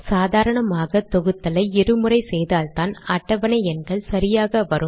சாதாரணமாக தொகுத்தலை இரு முறை செய்தால்தான் அட்டவணை எண்கள் சரியாக வரும்